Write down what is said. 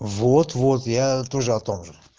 вот вот я тоже о том же